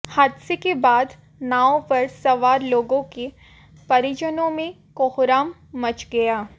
हादसे के बाद नाव पर सवार लोगों के परिजनों में कोहराम मच गया